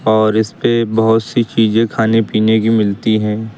और इसपे बहोत सी चीजें खाने पीने की मिलती है।